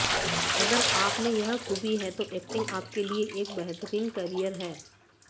अगर आप में यह खूबी है तो एक्टिंग आपके लिए एक बेहतरीन कैरियर है